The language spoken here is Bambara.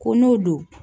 Ko n'o don